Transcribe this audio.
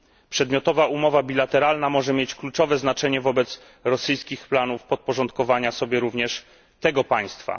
Przedmiotowa umowa bilateralna może mieć kluczowe znaczenie wobec rosyjskich planów podporządkowania sobie również tego państwa.